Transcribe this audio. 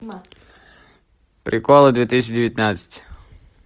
приколы две тысячи девятнадцать